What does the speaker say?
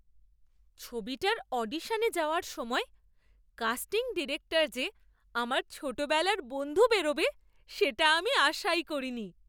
ছবিটার অডিশনে যাওয়ার সময় কাস্টিং ডিরেক্টর যে আমার ছোটবেলার বন্ধু বেরোবে সেটা আমি আশাই করিনি!